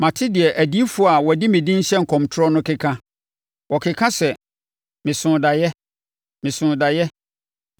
“Mate deɛ adiyifoɔ a wɔde medin hyɛ nkɔmtorɔ no keka. Wɔkeka sɛ, ‘Mesoo daeɛ! Mesoo daeɛ!’